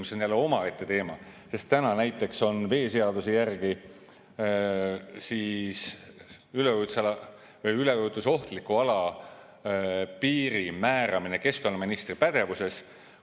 See on jälle omaette teema, sest täna näiteks on veeseaduse järgi üleujutusala või üleujutusohtliku ala piiri määramine keskkonnaministri pädevuses.